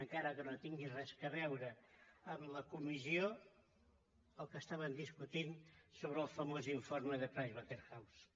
encara que no tingui res a veure amb la comissió el que estàvem discutint sobre el famós informe de price waterhouse